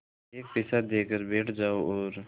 एक पैसा देकर बैठ जाओ और